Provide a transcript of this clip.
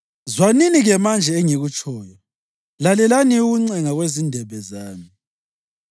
Zwanini-ke manje engikutshoyo; lalelani ukuncenga kwezindebe zami.